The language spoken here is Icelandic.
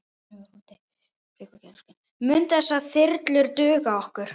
Munu þessar þyrlur duga okkur?